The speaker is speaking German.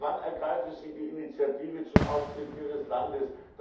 Aber wann ergreifen Sie die Initiative zum Austritt Ihres Landes?